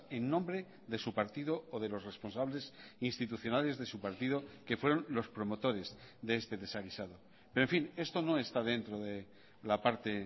en nombre de su partido o de los responsables institucionales de su partido que fueron los promotores de este desaguisado pero en fin esto no está dentro de la parte